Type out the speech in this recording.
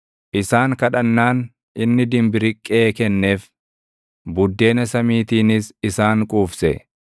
Isaan kadhannaan inni dimbiriqqee kenneef; buddeena samiitiinis isaan quufse.